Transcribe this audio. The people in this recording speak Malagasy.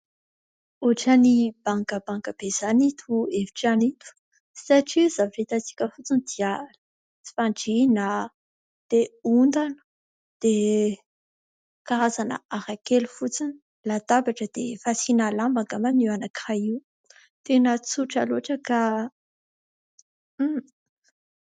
ohatra ny bangabanga be izany ito efitrano ito satria zavatra hitantsika fotsiny dia fandriana dia ondana dia karazana ara kely fotsiny, latabatra dia fasiana lamba angamba io anankiray io tena tsotra loatra ka